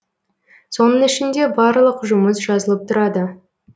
соның ішінде барлық жұмыс жазылып тұрады